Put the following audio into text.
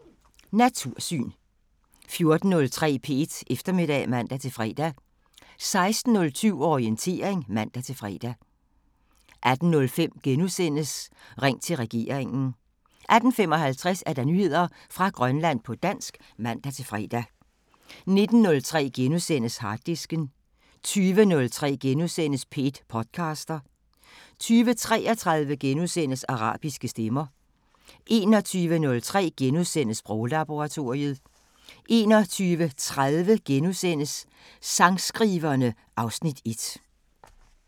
13:03: Natursyn 14:03: P1 Eftermiddag (man-fre) 16:07: Orientering (man-fre) 18:05: Ring til regeringen * 18:55: Nyheder fra Grønland på dansk (man-fre) 19:03: Harddisken * 20:03: P1 podcaster * 20:33: Arabiske Stemmer * 21:03: Sproglaboratoriet * 21:30: Sangskriverne (Afs. 1)*